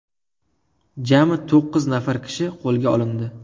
Jami to‘qqiz nafar kishi qo‘lga olindi.